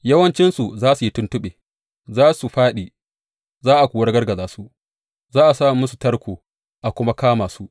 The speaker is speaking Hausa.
Yawancinsu za su yi tuntuɓe; za su fāɗi a kuwa ragargaza su, za a sa musu tarko a kuma kama su.